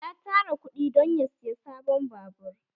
Ya tara kuɗi dan ya saya sabon babur